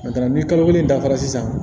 Nga ni kalo kelen dafara sisan